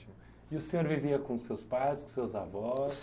E o senhor vivia com seus pais, com seus avós?